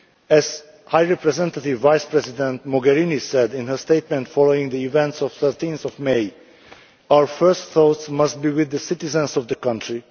As High Representative Vice President Mogherini said in her statement following the events of 13 May, our first thoughts must be with the citizens of the country.